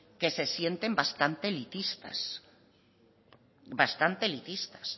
que se sienten bastante elitistas